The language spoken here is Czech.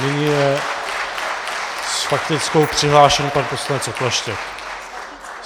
Nyní je s faktickou přihlášen pan poslanec Okleštěk.